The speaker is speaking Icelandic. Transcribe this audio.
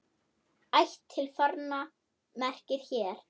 Ætt til forna merkir hér.